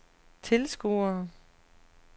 tilskuere